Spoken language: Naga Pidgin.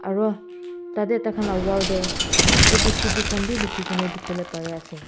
aro tah teh tah khan lah wall teh A_B_C_D khan bhi likhi kin dikhibo le pare ase.